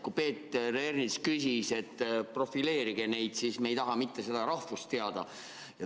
Kui Peeter Ernits palus, et profileerige neid, siis me ei taha mitte nende rahvust teada.